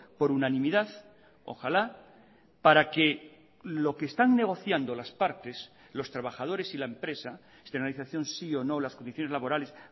por unanimidad ojalá para que lo que están negociando las partes los trabajadores y la empresa externalización sí o no las condiciones laborales